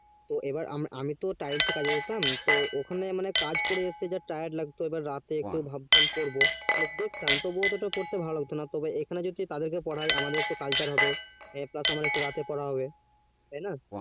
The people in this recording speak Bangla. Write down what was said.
তো আমি তো তাইয়েস কাজে যেতাম তো ওখানে মানে কাজ করে যা time লাগতো মনে করতাম, রাতে এসে পড়বো তো মনে হতো না তো এখানে যদি তাদের কে পড়ায় তাই আমাদের একটু কালচার হবে plus আমার একটু রাতে পড়া হবে তাই না